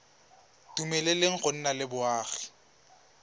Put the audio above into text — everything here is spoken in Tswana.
dumeleleng go nna le boagi